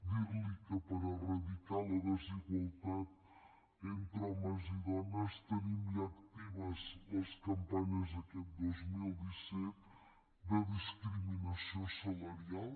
dir li que per erradicar la desigualtat entre homes i dones tenim ja actives les campanyes d’aquest dos mil disset de discriminació salarial